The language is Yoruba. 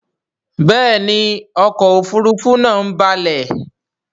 Béèni ọkọ òfurufú naa ń balè.